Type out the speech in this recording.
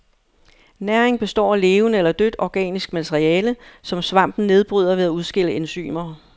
Næringen består af levende eller dødt organisk materiale, som svampen nedbryder ved at udskille enzymer.